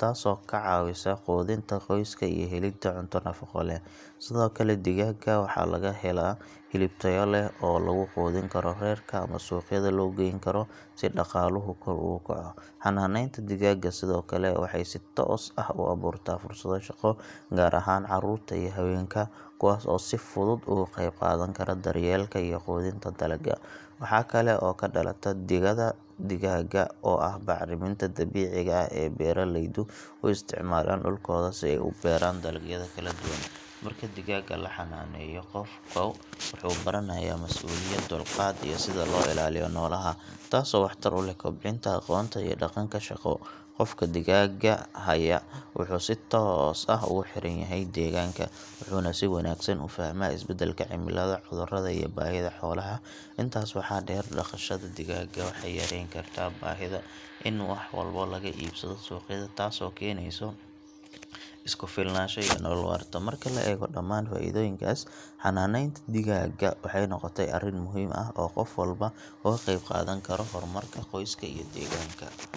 taasoo ka caawisa quudinta qoyska iyo helidda cunto nafaqo leh. Sidoo kale digaagga waxaa laga helaa hilib tayo leh oo lagu quudin karo reerka ama suuqyada loo geyn karo si dhaqaaluhu kor ugu kaco. Xanaaneynta digaagga sidoo kale waxay si toos ah u abuurtaa fursado shaqo, gaar ahaan carruurta iyo haweenka kuwaas oo si fudud uga qayb qaadan kara daryeelka iyo quudinta digaagga. Waxaa kale oo ka dhalata digada digaagga oo ah bacriminta dabiiciga ah ee beeraleydu u isticmaalaan dhulkooda si ay u beeraan dalagyada kala duwan. Marka digaagga la xanaaneeyo, qofku wuxuu baranayaa masuuliyad, dulqaad iyo sida loo ilaaliyo noolaha, taasoo waxtar u leh kobcinta aqoonta iyo dhaqanka shaqo. Qofka digaagga haya wuxuu si toos ah ugu xiran yahay deegaanka, wuxuuna si wanaagsan u fahmaa isbeddelka cimilada, cudurrada iyo baahida xoolaha. Intaas waxaa dheer, dhaqashada digaagga waxay yareyn kartaa baahida in wax walba laga iibsado suuqyada, taasoo keenaysa is ku filnaansho iyo nolol waarta. Marka la eego dhammaan faa’iidooyinkaas, xanaaneynta digaagga waxay noqotay arrin muhiim ah oo qof walba uga qayb qaadan karo horumarka qoyska iyo deegaanka.